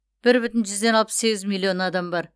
бір бүтін жүзден алпыс сегіз миллион адам бар